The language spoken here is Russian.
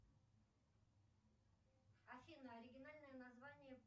афина оригинальное название